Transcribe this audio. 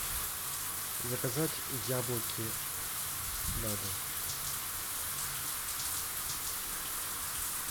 заказать яблоки на дом